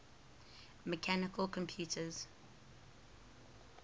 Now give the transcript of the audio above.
mechanical computers